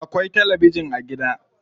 Akwai tabijin a gida.